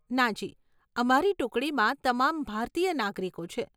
નાજી, અમારી ટુકડીમાં તમામ ભારતીય નાગરિકો છે.